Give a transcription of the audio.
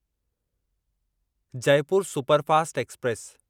Jaipur superfast express